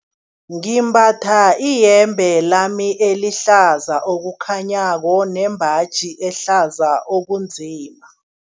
Ngimbatha iyembe lami elihlaza okukhanyako nembaji ehlaza okunzima.